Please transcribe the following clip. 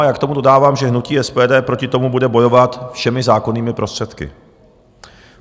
A já k tomu dodávám, že hnutí SPD proti tomu bude bojovat všemi zákonnými prostředky.